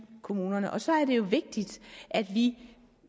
kommunerne og så er det jo vigtigt at vi